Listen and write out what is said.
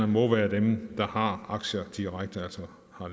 må være dem der har aktier altså